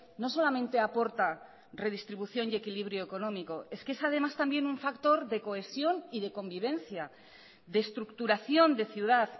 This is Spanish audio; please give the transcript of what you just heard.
no solamente aporta redistribución y equilibrio económico es que es además también un factor de cohesión y de convivencia de estructuración de ciudad